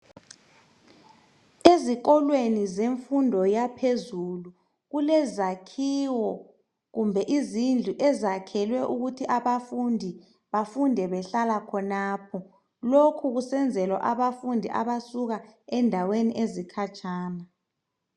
Ezikolweni zemfundo yaphezulu kulezakhiwo kumbe izindlu ezakhelwe ukuthi abafundi bafunde behlala khonapho, lokhu kusenzelwa abafundi abasuka endaweni ezikhatshana.